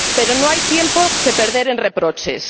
Pero no hay tiempo que perder en reproches.